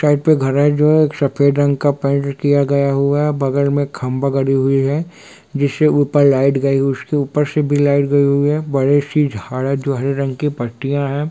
Side पे घड़ा है जो एक सफ़ेद रंग का पेंट किया गया हुआ है बगल में खम्बा गड़ी हुई है जिससे ऊपर लाइट गई उसके ऊपर से भी लाइट गई हुई है बड़ी सी झाड़ है जो हरी रंग की पत्तिया है।